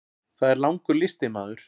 Það er langur listi maður.